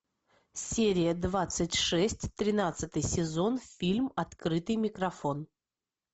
серия двадцать шесть тринадцатый сезон фильм открытый микрофон